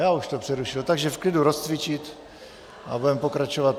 Já už to přerušil, takže v klidu rozcvičit a budeme pokračovat.